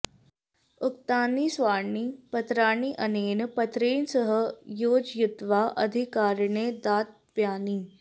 उक्तानि सर्वाणि पत्राणि अनेन पत्रेण सह योजयित्वा अधिकारिणे दातव्यानि